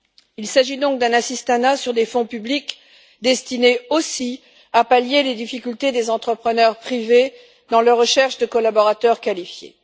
Il s'agit donc d'un assistanat sur des fonds publics destiné aussi à pallier les difficultés des entrepreneurs privés dans leur recherche de collaborateurs qualifiés.